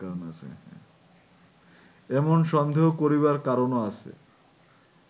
এমন সন্দেহ করিবার কারণও আছে